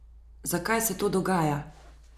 Zakaj se to dogaja?